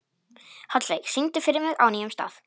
Hallveig, syngdu fyrir mig „Á nýjum stað“.